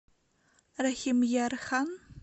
рахимъярхан